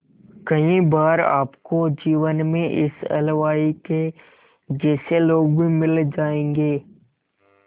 कई बार आपको जीवन में इस हलवाई के जैसे लोग भी मिल जाएंगे